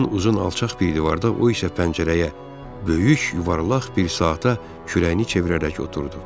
Mən uzun alçaq bir divarda, o isə pəncərəyə, böyük yuvarlaq bir saata kürəyini çevirərək oturdu.